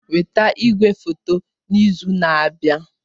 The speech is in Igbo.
Weta igwefoto n'izu na-abịa!